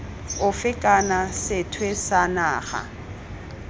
ofe kana sethwe sa naga